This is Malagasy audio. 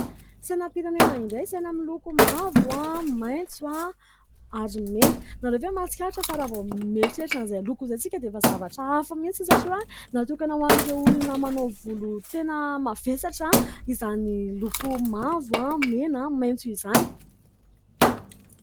Sainam-pirenena indray ! Saina miloko mavo, maitso ary mena. Ianareo ve mahatsikaritra fa raha vao mieritreritra an'izany loko izany tsika dia efa zavatra hafa mihitsy satria, natokana ho an'ireo olona manao volo tena mavesatra izany loko mavo, mena, maintso izany.